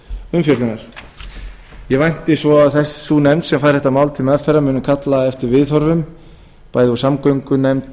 umfjöllunar ég vænti svo að sú nefnd sem fær þetta mál til meðferðar muni kalla eftir viðhorfum bæði úr samgöngunefnd